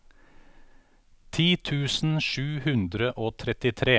ti tusen sju hundre og trettitre